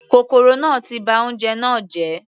Kòkòrò náà ti ba oúnjẹ náà jẹ́.